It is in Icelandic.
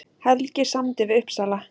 Helgi samdi við Uppsala